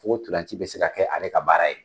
N ko ntolaci be se ka kɛ ale ka baara ye